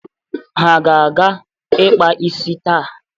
Ha ga-aga ịkpa isi taa.